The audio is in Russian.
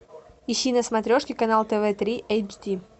ищи на смотрешке канал тв три эйч ди